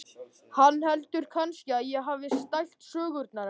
Hann heldur kannski að ég hafi stælt sögurnar hennar.